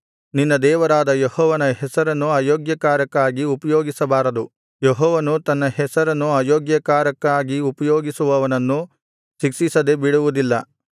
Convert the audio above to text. ನಿನ್ನ ದೇವರಾದ ಯೆಹೋವನ ಹೆಸರನ್ನು ಅಯೋಗ್ಯಕಾರ್ಯಕ್ಕಾಗಿ ಉಪಯೋಗಿಸಬಾರದು ಯೆಹೋವನು ತನ್ನ ಹೆಸರನ್ನು ಅಯೋಗ್ಯ ಕಾರ್ಯಕ್ಕಾಗಿ ಉಪಯೋಗಿಸುವವನನ್ನು ಶಿಕ್ಷಿಸದೆ ಬಿಡುವುದಿಲ್ಲ